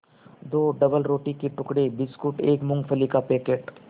दो डबलरोटी के टुकड़े बिस्कुट एक मूँगफली का पैकेट